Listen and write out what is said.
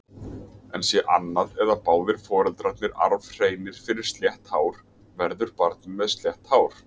En sé annað eða báðir foreldrarnir arfhreinir fyrir slétt hár, verður barnið með slétt hár.